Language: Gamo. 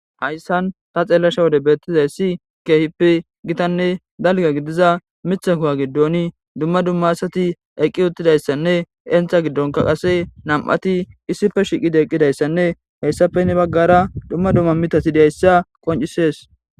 hayssan ta xeellasha wode beettizay si keehip gitanne dalga gidiza mitha kuwa giddon dumma dumma asati eqqi uttidayssanne entha giddonka qase nam7ati issife shiqide eqqidayssanne heyssafe ne baggara dumma dumma mitati dayssa qoncisees